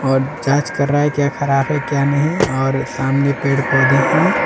और जांच कर रहा है क्या खराब है क्या नहीं और सामने पेड़ पौधे हैं।